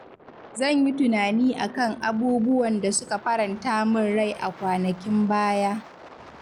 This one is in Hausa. Zan yi tunani a kan abubuwan da suka faranta min rai a kwanakin baya.